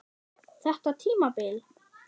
Þetta tímabil?